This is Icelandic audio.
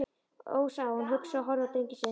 Ó, sagði hún hugsi og horfði á drenginn sinn.